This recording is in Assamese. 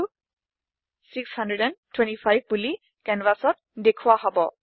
54625 বোলি কেনভাচত দেখোৱা হব